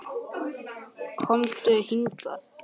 Komdu hingað